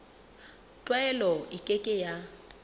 tlwaelo e ke ke ya